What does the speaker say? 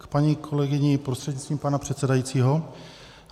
K paní kolegyni prostřednictvím pana předsedajícího.